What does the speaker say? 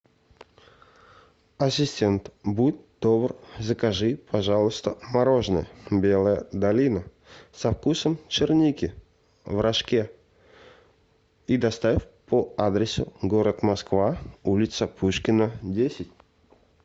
ассистент будь добр закажи пожалуйста мороженое белая долина со вкусом черники в рожке и доставь по адресу город москва улица пушкина десять